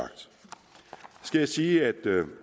skal jeg sige at